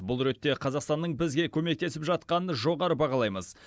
бұл ретте қазақстанның бізге көмектесіп жатқанын жоғары бағалаймыз